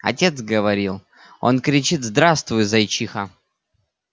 отец говорил он кричит здравствуй зайчиха